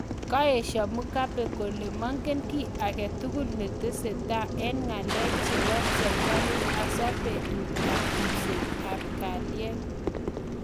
Kakoesha mugabe kole mengen ki aketugul netesetai eng ngalek chepo serikalit haswaa putet ap ripset ap kaliet